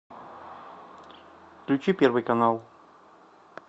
включи первый канал